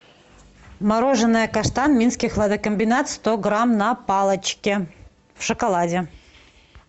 мороженое каштан минский хладокомбинат сто грамм на палочке в шоколаде